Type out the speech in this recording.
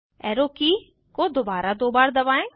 arrow key को दोबारा दो बार दबाएं